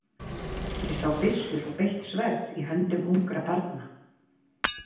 Ég sá byssur og beitt sverð í höndum ungra barna.